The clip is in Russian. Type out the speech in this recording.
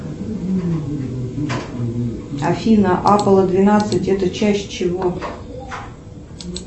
афина аполо двенадцать это часть чего